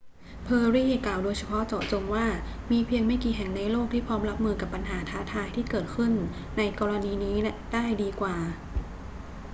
เพอร์รี่กล่าวโดยเฉพาะเจาะจงว่า มีเพียงไม่กี่แห่งในโลกที่พร้อมรับมือกับปัญหาท้าทายที่เกิดขึ้นในกรณีนี้ได้ดีกว่า